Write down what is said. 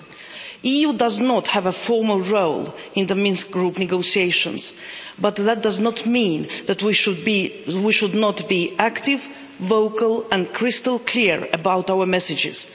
The EU does not have a formal role in the Minsk Group negotiations, but that does not mean that we should not be active, vocal and crystal clear about our messages.